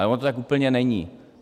Ale ono to tak úplně není.